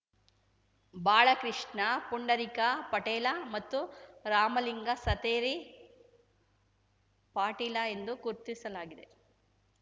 ಬಾಳಕೃಷ್ಣ ಪುಂಡರೀಕ ಪಾಟೇಲ ಮತ್ತು ರಾಮಲಿಂಗ ಸತೇರಿ ಪಾಟೀಲ ಎಂದು ಗುರ್ತಿಸಲಾಗಿದೆ